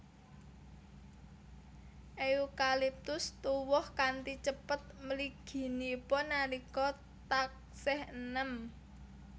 Eukaliptus tuwuh kanthi cepet mliginipun nalika taksih eném